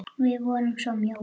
Við vorum svona mjóir!